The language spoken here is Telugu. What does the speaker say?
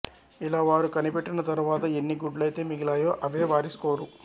ఇలా వారు కనిపెట్టిన తరువాత ఎన్ని గుడ్లైతే మిగిలాయో అవే వారి స్కోరు